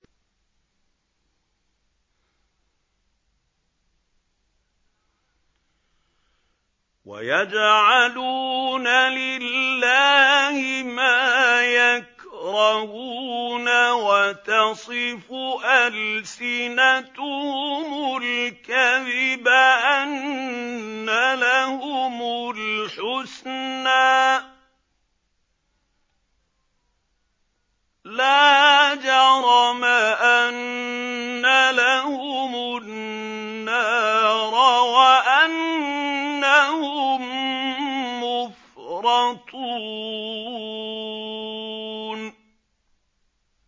وَيَجْعَلُونَ لِلَّهِ مَا يَكْرَهُونَ وَتَصِفُ أَلْسِنَتُهُمُ الْكَذِبَ أَنَّ لَهُمُ الْحُسْنَىٰ ۖ لَا جَرَمَ أَنَّ لَهُمُ النَّارَ وَأَنَّهُم مُّفْرَطُونَ